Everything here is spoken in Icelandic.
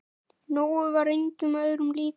Nói var engum öðrum líkur.